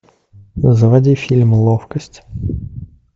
заводи фильм ловкость